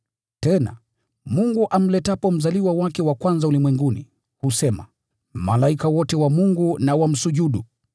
Tena, Mungu amletapo mzaliwa wake wa kwanza ulimwenguni, anasema, “Malaika wote wa Mungu na wamsujudu.”